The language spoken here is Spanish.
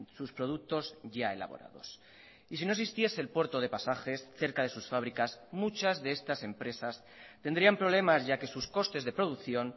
sus productos ya elaborados y si no existiese el puerto de pasajes cerca de sus fábricas muchas de estas empresas tendrían problemas ya que sus costes de producción